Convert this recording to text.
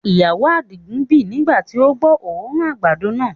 Ìyàwó adigun bì nigba ti o gbọ́ oòrùn àgbàdo náà.